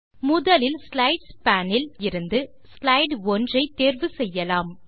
முதலில் slides pane இலிருந்து slide 1 ஐ தேர்வு செய்யலாம்